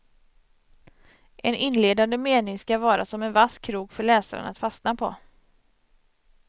En inledande mening ska vara som en vass krok för läsaren att fastna på.